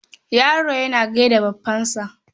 Yaro yana gai da baffansa.